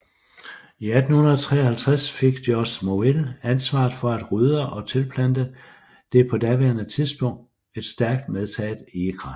I 1853 fik Georg Morville ansvaret for at rydde og tilplante det på daværende tidspunkt et stærkt medtaget egekrat